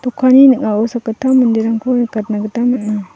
ning·ao sakgittam manderangko nikatna gita man·a.